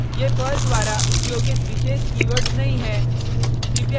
ये पर्ल द्वारा उपयोगित विशेष कीवर्ड्स नहीं है